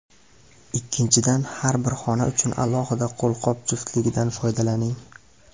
Ikkinchidan, har bir xona uchun alohida qo‘lqop juftligidan foydalaning.